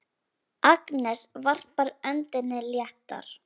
Agnes varpar öndinni léttar.